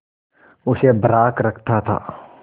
उसे बर्राक रखता था